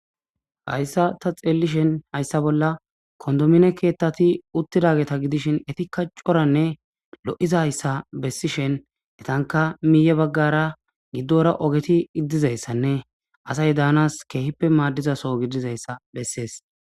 Hayissa ta xellishin hayssa bolla kondomine ketati uttidageta giddishin etika coranne lo'izayissa besishin etankka miye baggara giddora oggeti dizzayisanne asati dannas kehippe maddiza soo giddoyisa beses.